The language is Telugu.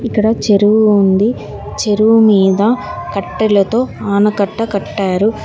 ఇక్కడ చెరువు ఉంది చెరువు మీద కట్టెలతో ఆనకట్ట కట్టారు.